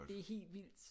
Det er helt vildt